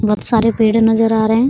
बहुत सारे पेड़े नजर आ रहे हैं ।